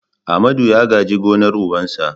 Amadu ya gaji gonar ubansa.